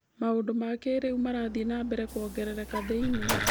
Maũndũ ma kĩrĩu marathiĩ na mbere kuongerereka thĩ-inĩ.